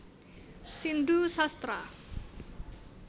Sindu Sastra